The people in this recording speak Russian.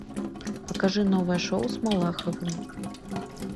покажи новое шоу с малаховым